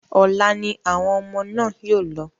Ọ̀la ni àwọn ọmọ náà yóò lọ.